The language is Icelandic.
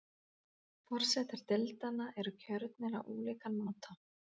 Forsetar deildanna eru kjörnir á ólíkan máta.